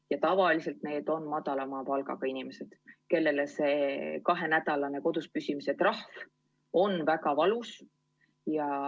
Ja tavaliselt need on madalama palgaga inimesed, kellele kahenädalane kodus püsimise trahv on väga valus.